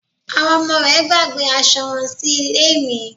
Àwọn ọmọ rẹ̀ gbàgbé asọ wọn sí ilé mi